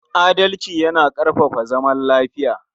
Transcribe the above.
Adalci yana ƙarfafa zaman lafiya.